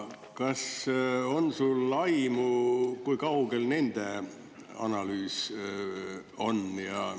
Kas sul on aimu, kui kaugel nende analüüs on?